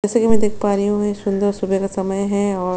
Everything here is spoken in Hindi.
जैसा की मै देख पा रही हु ये सुन्दर सुबह का समय है और--